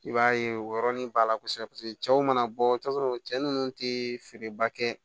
I b'a ye o yɔrɔnin b'a la kosɛbɛ paseke cɛw mana bɔ i t'a sɔrɔ cɛ nunnu te feereba kɛ